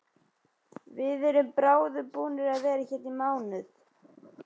Við erum bráðum búnir að vera hérna í mánuð.